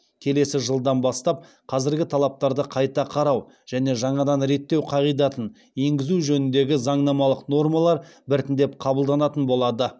келесі жылдан бастап қазіргі талаптарды қайта қарау және жаңадан реттеу қағидатын еңгізу жөніндегі заңнамалық нормалар біртіндеп қабылданатын болады